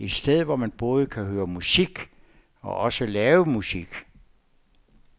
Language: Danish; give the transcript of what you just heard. Et sted hvor man både kan høre musik og også selv lave musik.